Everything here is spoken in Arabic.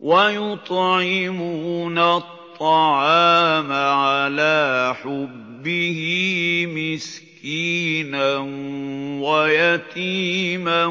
وَيُطْعِمُونَ الطَّعَامَ عَلَىٰ حُبِّهِ مِسْكِينًا وَيَتِيمًا